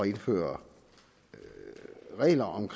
indføre regler om